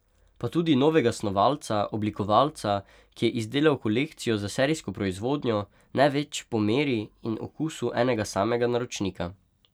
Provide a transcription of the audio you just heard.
Pa tudi novega snovalca, oblikovalca, ki je izdelal kolekcijo za serijsko proizvodnjo, ne več po meri in okusu enega samega naročnika.